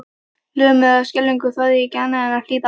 Lömuð af skelfingu þorði ég ekki annað en að hlýða.